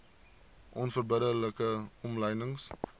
onverbidde like omlynings